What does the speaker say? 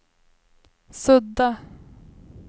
sudda